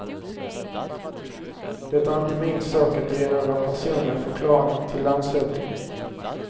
Det är inte min sak att ge några personliga förklaringar till landshövdingen.